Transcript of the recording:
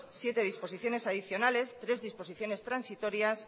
siete disposiciones adicionales res disposiciones transitorias